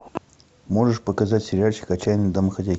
можешь показать сериальчик отчаянные домохозяйки